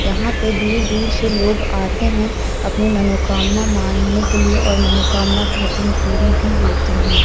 यहां पे दूर दूर से लोग आते हैं अपनी मनोकामना मांगने के लिए और मनोकामना कहते है पूरी भी होती है।